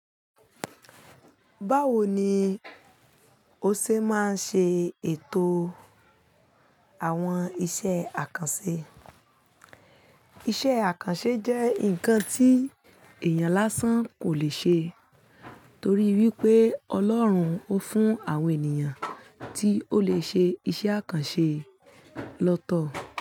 Báwo ni o ṣe máa ṣe ètò àwọn isẹ́ àkànṣe? Isẹ́ àkànṣe jẹ́ nǹkan tí èèyàn lásán kò le ṣe torí wípé Ọlọ́run ó fún àwọn ènìyàn tí ó le ṣe iṣẹ́ àkànṣe lọ́tọ̀